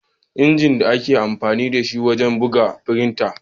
Inji da ake amfani da shi wajen bugu shine "frinta."